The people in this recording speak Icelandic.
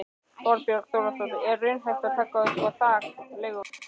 Þorbjörn Þórðarson: Er raunhæft að taka upp þak á leiguverð?